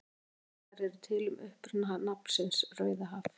Nokkrar kenningar eru til um uppruna nafnsins Rauðahaf.